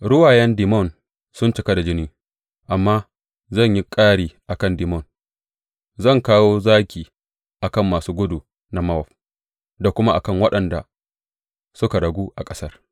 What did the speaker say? Ruwayen Dimon sun cika da jini, amma zan yi ƙari a kan Dimon, zan kawo zaki a kan masu gudu na Mowab da kuma a kan waɗanda suka ragu a ƙasar.